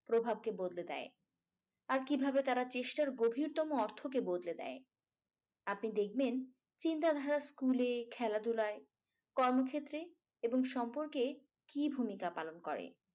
প্রভাবকে বদলে দেয়। আর কিভাবে তারা চেষ্টার গভীরতম অর্থকে বদলে দেয়। আপনি দেখবেন চিন্তাধারা স্কুলের খেলাধুলায় কর্মক্ষেত্র এবং সম্পর্কে কি ভূমিকা পালন করে।